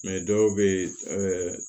dɔw bɛ yen